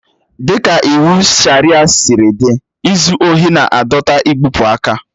Dịka iwu Sharịa siri dị, izu ohi na-adọta igbụpụ aka.